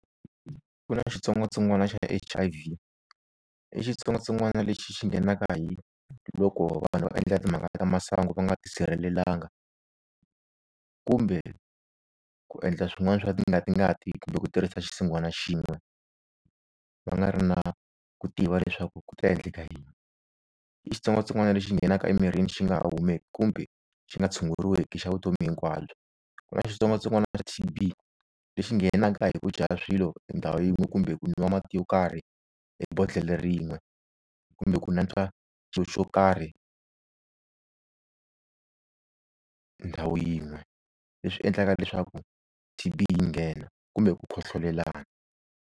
Ku na xitsongwatsongwana xa H_I_V i xitsongwatsongwana lexi xi nghenaka hi loko vanhu va endla timhaka ta masangu va nga tisirhelelanga kumbe ku endla swin'wani swa tingati ngati kumbe ku tirhisa xisinghwana xin'we va nga ri na ku tiva leswaku ku ta endleka yini. I xitsongwatsongwana lexi nghenaka emirini xi nga ha kumeki kumbe xi nga tshunguruweki i xa vutomi hinkwabyo. Ku na xitsongwatsongwana xa T_B lexi nghenaka hi ku dya swilo endhawu yin'we kumbe ku nwa mati yo karhi hi bodlele rin'we, kumbe ku natswa xo xo karhi ndhawu yin'we, leswi endlaka leswaku T_B yi nghena, kumbe ku khohlolelana.